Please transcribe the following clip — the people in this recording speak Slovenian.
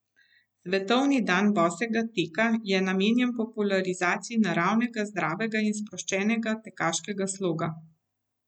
Svetovni dan bosega teka je namenjen popularizaciji naravnega, zdravega in sproščenega tekaškega sloga.